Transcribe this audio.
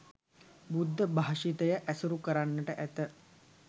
බුද්ධ භාෂිතය ඇසුරු කරන්නට ඇත